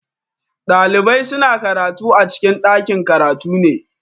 Ɗalibai suna karatu a cikin ɗakin-karatu ne.